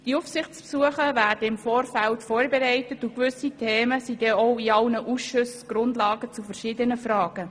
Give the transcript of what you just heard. Die Aufsichtsbesuche werden im Vorfeld vorbereitet, und gewisse Themen bilden in allen Ausschüssen die Grundlage verschiedener Fragen.